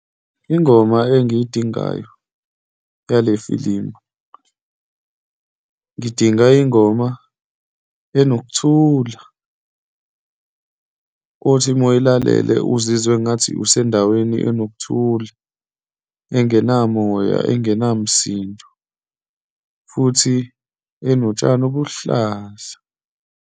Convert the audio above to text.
Ingoma engiyidingayo yale filimu, ngidinga ingoma enokuthula, othi uma uyilalele uzizwe engathi usendaweni enokuthula, engenamoya, engenamsindo, futhi enotshani obuluhlaza.